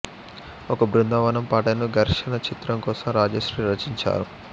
ఒక బృందావనం పాటను ఘర్షణ చిత్రం కోసం రాజశ్రీ రచించారు